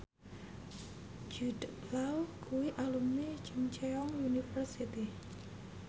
Jude Law kuwi alumni Chungceong University